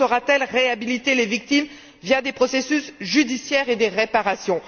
L'Union saura t elle réhabiliter les victimes via des processus judiciaires et des réparations?